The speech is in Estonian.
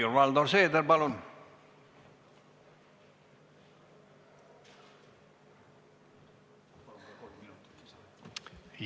Helir-Valdor Seeder, palun!